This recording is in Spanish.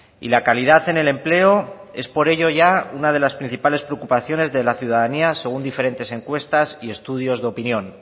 y la calidad en el empleo es por ello ya una de las principales preocupaciones de la ciudadanía según diferentes encuestas y estudios de opinión